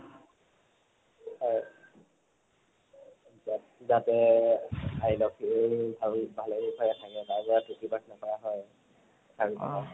হয়। যা যাতে আই লক্ষ্মীয়ে ভাল ভালে কুশলে থাকে তাৰ প্ৰাথনা কৰা হয় আৰু